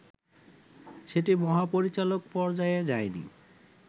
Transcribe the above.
সেটি মহাপরিচালক পর্যায়ে যায়নি